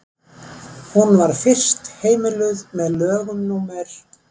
hún var fyrst heimiluð með lögum númer